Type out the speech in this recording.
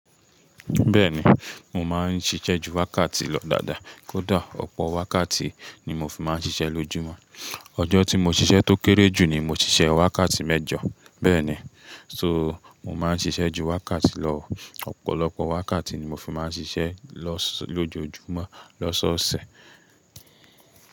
Bẹ́ẹ̀ni, mò máa ń ṣiṣẹ́ ju wákàtí lọ dáadáa. Kódà ọ̀pọ̀ wákàtí ni mo fi máa ń ṣiṣẹ́ lójúmọ́. Ọjọ́ tí mo ṣiṣẹ́ tó kéré jù ni mo ṣiṣẹ́ wákàtí mẹ́jọ. Bẹ́ẹ̀ni, so mò máa ń ṣiṣẹ́ ju wákàtí lọ. Ọ̀pọ̀lọpọ̀ wákàtí ni mo fi máa ń ṣiṣẹ́ lọ lójúmọ́ lọ́sọ̀ọ̀sẹ̀.